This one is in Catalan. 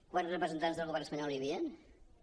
quants representants del govern espanyol hi havia zero